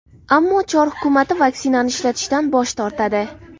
Ammo Chor hukumati vaksinani ishlatishdan bosh tortadi.